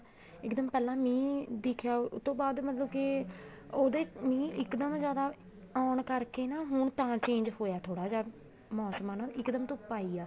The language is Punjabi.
ਇੱਕਦਮ ਪਹਿਲਾਂ ਮੀਂਹ ਦਿਖਿਆ ਉਹਤੋਂ ਬਾਅਦ ਮਤਲਬ ਕੇ ਉਹਦੇ ਮੀਂਹ ਇੱਕਦਮ ਜਿਆਦਾ ਆਉਣ ਕਰਕੇ ਨਾ ਹੁਣ ਤਾਂ change ਹੋਇਆ ਥੋੜਾ ਜਾ ਮੋਸਮ ਨਾ ਇੱਕਦਮ ਧੁੱਪ ਆਈ ਆ